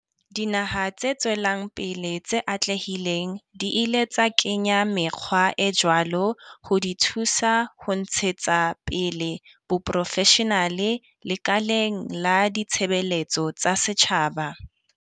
Dinaha tse tswelang pele tse atlehileng di ile tsa kenya mekgwa e jwalo ho di thusa ho ntshetsa pele boprofeshenale lekaleng la ditshebeletso tsa setjhaba.